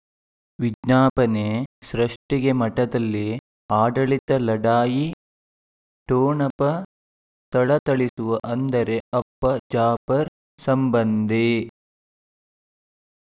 ವಿಜ್ಞಾಪನೆ ಸೃಷ್ಟಿಗೆ ಮಠದಲ್ಲಿ ಆಡಳಿತ ಲಢಾಯಿ ಠೊಣಪ ಥಳಥಳಿಸುವ ಅಂದರೆ ಅಪ್ಪ ಜಾಫರ್ ಸಂಬಂಧಿ